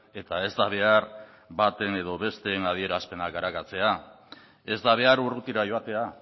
eta ez da behar baten edo besteen adierazpenak arakatzea ez da behar urrutira joatea